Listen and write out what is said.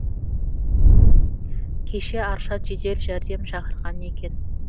кеше аршат жедел жәрдем шақырған екен